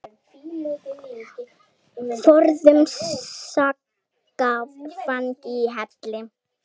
Forðum saxað fang í hvelli.